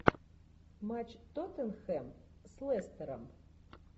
матч тоттенхэм с лестером